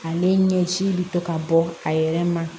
Ale ɲɛji bɛ to ka bɔ a yɛrɛ ma